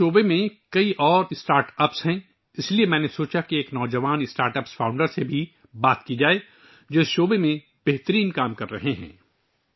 اس شعبے میں اور بھی بہت سے اسٹارٹ اپس ہیں، اس لیے میں نے سوچا کہ ایک نوجوان اسٹارٹ اپ کے بانی سے بات کروں جو اس شعبے میں بہترین کام کر رہا ہے